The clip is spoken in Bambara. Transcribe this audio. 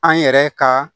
An yɛrɛ ka